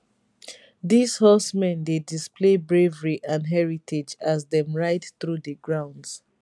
dis horsemen dey display bravery and heritage as dem ride through di grounds